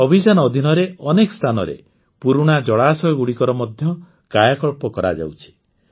ଏହି ଅଭିଯାନ ଅଧୀନରେ ଅନେକ ସ୍ଥାନରେ ପୁରୁଣା ଜଳାଶୟଗୁଡ଼ିକର ମଧ୍ୟ କାୟାକଳ୍ପ କରାଯାଉଛି